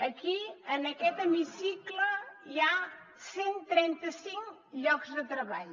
aquí en aquest hemicicle hi ha cent i trenta cinc llocs de treball